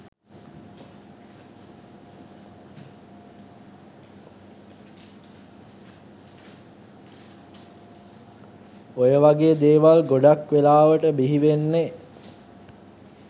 ඔය වගේ දේවල් ගොඩක් වෙලාවට බිහිවෙන්නෙ